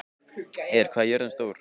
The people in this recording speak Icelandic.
Eir, hvað er jörðin stór?